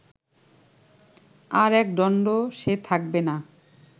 আর একদন্ডও সে থাকবে না